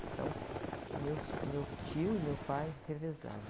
Então, meus, meu tio e meu pai revezavam.